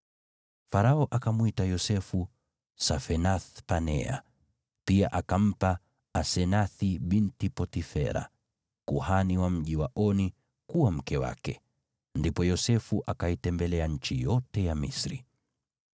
Farao akamwita Yosefu Safenath-Panea, pia akampa Asenathi binti Potifera, kuhani wa mji wa Oni, kuwa mke wake. Ndipo Yosefu akaitembelea nchi yote ya Misri.